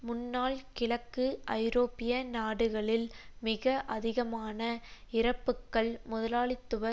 முன்னாள் கிழக்கு ஐரோப்பிய நாடுகளில் மிக அதிகமான இறப்புக்கள் முதலாளித்துவ